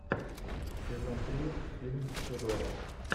сезон три фильм тюдоры